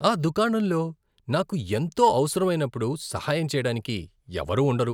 ఆ దుకాణంలో నాకు ఎంతో అవసరమైనప్పుడు సహాయం చేయడానికి ఎవరూ ఉండరు.